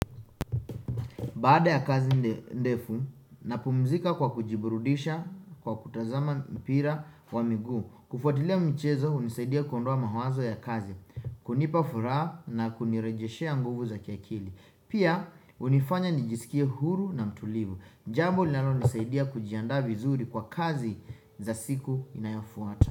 Baada ya kazi ndefu, napumzika kwa kujiburudisha kwa kutazama mpira wa miguu. Kufuatilia mchezo hunisaidia kuondoa mawazo ya kazi, kunipa furaha na kunirejeshea nguvu za kiakili. Pia hunifanya nijisikie huru na mtulivu. Jambo linalonisaidia kujiandaa vizuri kwa kazi za siku inayofuata.